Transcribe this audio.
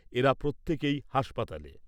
এরা প্রত্যেকেই হাসপাতালে।